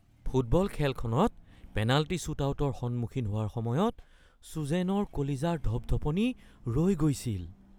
football খেলখনত penalty শ্বুটআউটৰ সন্মুখীন হোৱাৰ সময়ত চুজেনৰ কলিজাৰ ধপধপনি ৰৈ গৈছিল